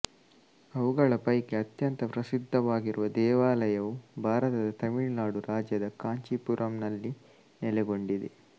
ಅವುಗಳ ಪೈಕಿ ಅತ್ಯಂತ ಪ್ರಸಿದ್ಧವಾಗಿರುವ ದೇವಾಲಯವು ಭಾರತದ ತಮಿಳುನಾಡು ರಾಜ್ಯದ ಕಾಂಚೀಪುರಂನಲ್ಲಿ ನೆಲೆಗೊಂಡಿದೆ